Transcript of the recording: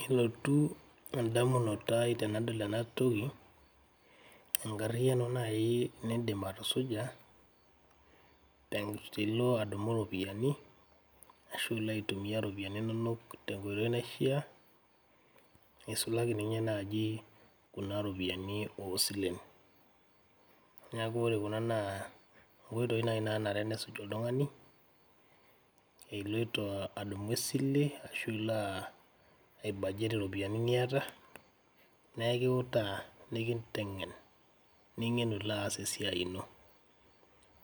Kelotu tee indamunot aai tenadol enatoki, enkariano naii niindim atusuja tenilo adumu iropiyiani ashu ilo aitumiya ropiyani inonok te nkoitoi naishaa, eisulaki ninye naaji kuna ropiyani oosilen, naaku ore kuna naa nkoitoi nenia nanare nesuj oltung'ani iloto adumu isile ashu ilo aibajet ropiyiani niata, naa ekiutaa nikinteng'en, ning'enu ilo aas isiaiii ino,